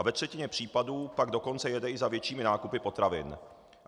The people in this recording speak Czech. A ve třetině případů pak dokonce jede i za většími nákupy potravin.